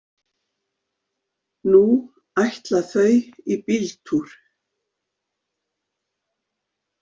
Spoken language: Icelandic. Nú ætla þau í bíltúr.